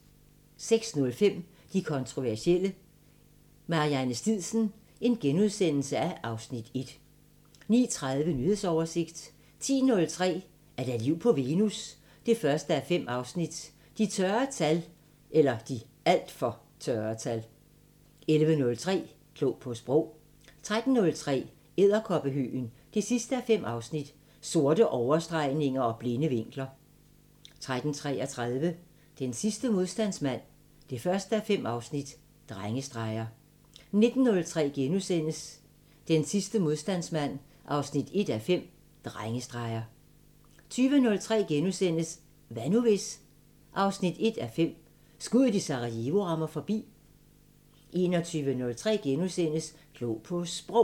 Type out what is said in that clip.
06:05: De kontroversielle – Marianne Stidsen (Afs. 1)* 09:30: Nyhedsoversigt 10:03: Er der liv på Venus? 1:5 – De (alt for) tørre tal 11:03: Klog på Sprog 13:03: Edderkoppehøgen 5:5 – Sorte overstregninger og blinde vinkler 13:33: Den sidste modstandsmand 1:5 – Drengestreger 19:03: Edderkoppehøgen 5:5 – Sorte overstregninger og blinde vinkler * 19:33: Den sidste modstandsmand 1:5 – Drengestreger * 20:03: Hvad nu hvis...? 1:5 – Skuddet i Sarajevo rammer forbi * 21:03: Klog på Sprog *